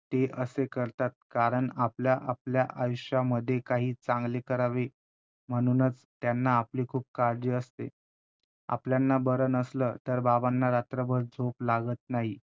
ते असे करतात कारण आपल्या~ आपल्या आयुष्यामध्ये काही चांगले करावे, म्हणूनच त्यांना आपली खूप काळजी असते. आपल्यांना बर नसलं तर बाबांना रात्रभर झोप लागत नाही.